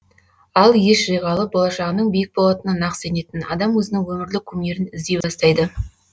ал ес жиғалы болашағының биік болатынына нақ сенетін адам өзінің өмірлік кумирін іздей бастайды